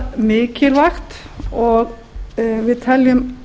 afar mikilvægt og við teljum